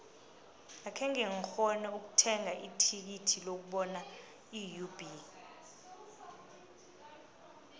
akhenge ngikghone ukuthenga ithikithi lokubona iub